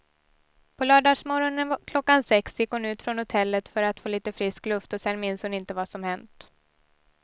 På lördagsmorgonen klockan sex gick hon ut från hotellet för att få lite frisk luft och sen minns hon inte vad som hänt.